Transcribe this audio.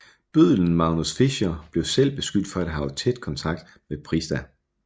Bøddelen Magnus Fischer blev selv beskyldt for at have haft tæt kontakt med Prista